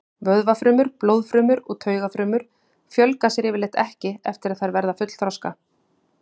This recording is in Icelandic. Vöðvafrumur, blóðfrumur og taugafrumur fjölga sér yfirleitt ekki eftir að þær verða fullþroska.